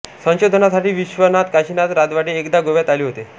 संशोधनासाठी विश्वनाथ काशीनाथ राजवाडे एकदा गोव्यात आले होते